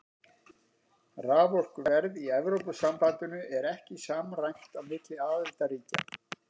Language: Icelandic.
Raforkuverð í Evrópusambandinu er ekki samræmt á milli aðildarríkja.